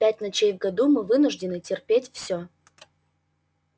пять ночей в году мы вынуждены терпеть все